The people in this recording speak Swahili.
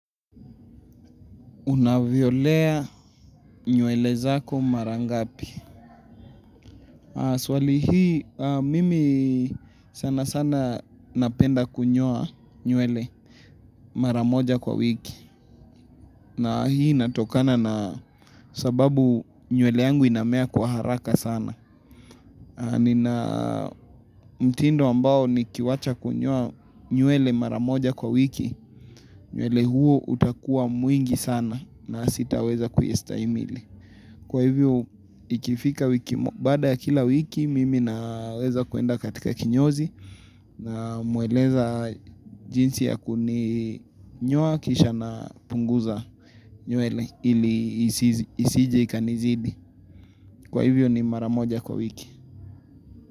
Unavyolea nywele zako mara ngapi. Swali hii mimi sana sana napenda kunyoa nywele mara moja kwa wiki. Na hii inatokana na sababu nywele yangu inamea kwa haraka sana. Mtindo ambao ni kiwacha kunyowa nywele mara moja kwa wiki. Nywele huo utakuwa mwingi sana na sitaweza kuistahimili. Kwa hivyo ikifika wiki baada ya kila wiki mimi naweza kuenda katika kinyozi na mueleza jinsi ya kuni nyoa kisha na punguza nywele ili isije ikanizidi. Kwa hivyo ni maramoja kwa wiki.